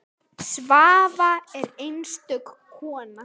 Svava er einstök kona.